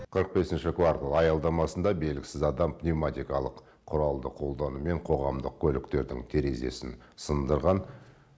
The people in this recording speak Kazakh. қырық бесінші квартал аялдамасында белгісіз адам пневматикалық құралды қолданумен қоғамдық көліктердің терезесін сындырған